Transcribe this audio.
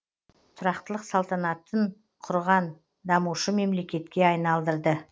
тұрақтылық салтанатып құрған дамушы мемлекетке айналдырды